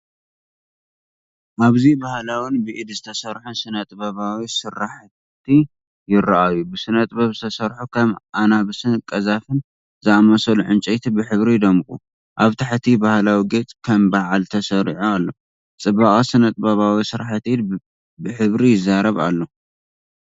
ኣብዚ ባህላውን ብኢድ ዝተሰርሑን ስነ-ጥበባዊ ስርሓት ይራኣዩ። ብስነ-ጥበብ ዝተሰርሑ ከም ኣናብስን ቀዛፍን ዝኣመሰሉ ዕንጨይቲ ብሕብሪ ይደምቁ፤ ኣብ ታሕቲ፡ ባህላዊ ጌጽ ከም በዓል ተሰሪዑ ኣሎ። ጽባቐ ስነ-ጥበባዊ ስርሓት ኢድ ብሕብሪ ይዛረብ ኣሎ።